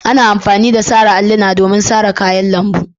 Ana amfani da sara alluna domin sara kayan lambu.